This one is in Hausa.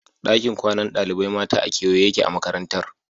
Dakin kwanan ɗalibai mata a kewaye yake a Makarantar